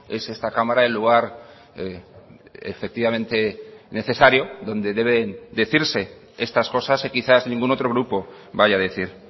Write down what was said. es esta cámara el lugar efectivamente necesario donde deben decirse estas cosas y quizás ningún otro grupo vaya a decir